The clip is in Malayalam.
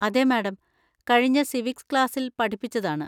അതെ, മാഡം. കഴിഞ്ഞ സിവിക്സ് ക്ലാസ്സിൽ പഠിപ്പിച്ചതാണ്.